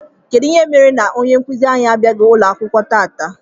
Kedụ ihe mere na ọnye nkuzi anyị abiaghi akwụkwọ tata?